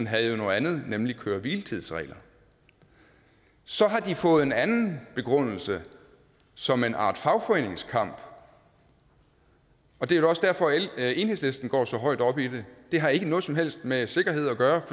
havde noget andet nemlig køre hvile tids regler så har de fået en anden begrundelse som en art fagforeningskamp og det er også derfor at enhedslisten går så højt op i det det har ikke noget som helst med sikkerhed at gøre